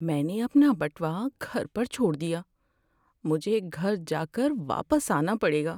میں نے اپنا بٹوا گھر پر چھوڑ دیا۔ مجھے گھر جا کر واپس آنا پڑے گا۔